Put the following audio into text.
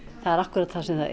það er akkúrat það sem það